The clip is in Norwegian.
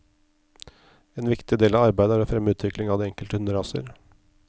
En viktig del av arbeidet er å fremme utvikling av de enkelte hunderaser.